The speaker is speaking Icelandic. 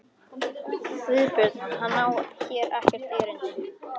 GUÐBJÖRG: Hann á hér ekkert erindi.